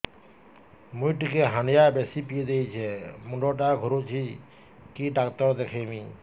ମୁଇ ଟିକେ ହାଣ୍ଡିଆ ବେଶି ପିଇ ଦେଇଛି ମୁଣ୍ଡ ଟା ଘୁରୁଚି କି ଡାକ୍ତର ଦେଖେଇମି